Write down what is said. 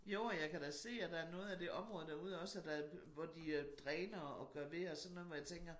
Jo og jeg kan da se at der er noget af det område derude også at der hvor de øh dræner og gør ved og sådan noget hvor jeg tænker